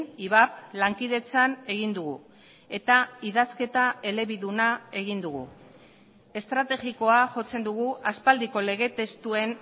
ivap lankidetzan egin dugu eta idazketa elebiduna egin dugu estrategikoa jotzen dugu aspaldiko lege testuen